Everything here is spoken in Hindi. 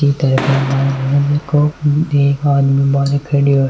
ई घर क माईन एक आदमी बाहर खड्यो है।